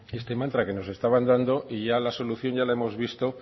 que este mantra que nos estaban dando y ya la solución ya la hemos visto